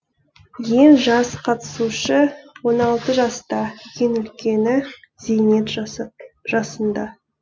ең жас қатысушы он алты жаста ең үлкені зейнет жасында